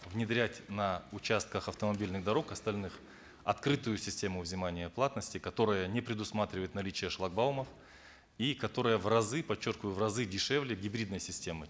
внедрять на участках автомобильных дорог остальных открытую систему взимания платности которая не предусматривает наличие шлагбаумов и которое в разы подчеркиваю в разы дешевле гибридной системы